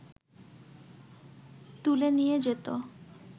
তুলে নিয়ে যেত